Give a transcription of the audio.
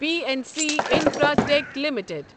P N C Infratech limited